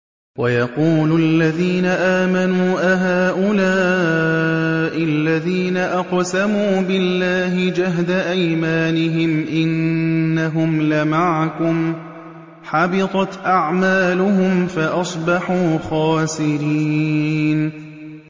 وَيَقُولُ الَّذِينَ آمَنُوا أَهَٰؤُلَاءِ الَّذِينَ أَقْسَمُوا بِاللَّهِ جَهْدَ أَيْمَانِهِمْ ۙ إِنَّهُمْ لَمَعَكُمْ ۚ حَبِطَتْ أَعْمَالُهُمْ فَأَصْبَحُوا خَاسِرِينَ